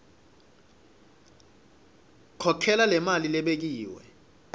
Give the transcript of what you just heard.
khokhela lemali lebekiwe